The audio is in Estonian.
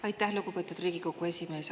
Aitäh, lugupeetud Riigikogu esimees!